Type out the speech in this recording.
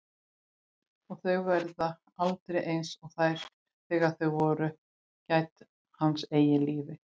Að þau verði aldrei einsog þegar þau voru gædd hans eigin lífi.